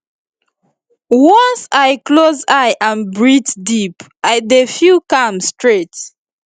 once i close eye and breathe deep i dey feel calm straight